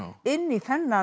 inn í þennan